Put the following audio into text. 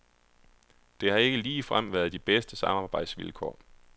Det har ikke ligefrem været de bedste samarbejdsvilkår.